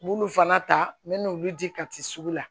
N b'olu fana ta n bɛ n'olu di kati sugu la